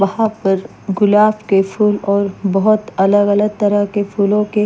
वहां पर गुलाब के फूल और बहुत अलग-अलग तरह के फूलों के--